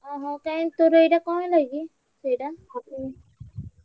ଓହୋ କାଇଁ ତୋର ଏଇଟା କଣ ହେଲା କି? ସେଇଟା